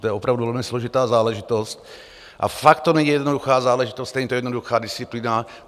To je opravdu velmi složitá záležitost a fakt to není jednoduchá záležitost, není to jednoduchá disciplína.